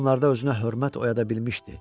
Bunlarda özünə hörmət oyada bilmişdi.